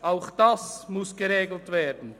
Auch das muss geregelt werden.